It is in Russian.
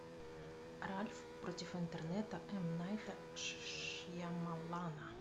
ральф против интернета м найта шьямалана